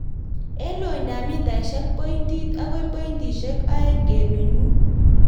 En lointap mitaisiek pointit akoi pointisiek oeng' kenuch mut.